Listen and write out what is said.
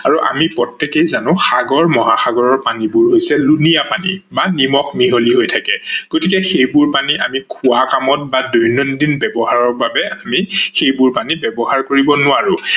আৰু আমি প্ৰতেকেই জানো সাগৰ মহাসাগৰৰ পানীবোৰ হৈছে লোনিয়া পানী বা নিমখ মিহলি হৈ থাকে গতিকে সেইবোৰ পানী আমি খোৱা কামত বা দৈনন্দিন ব্যৱহাৰৰ বাবে আমি সেইবোৰ পানী ব্যৱহাৰ কৰিব নোৱাৰো।